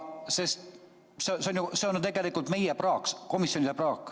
See on ju tegelikult meie praak, komisjoni praak.